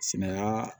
Sina